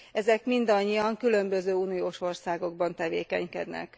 Ezek mindannyian különböző uniós országokban tevékenykednek.